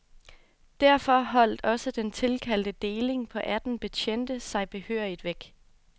Derfor holdt også den tilkaldte deling på atten betjente sig behørigt væk.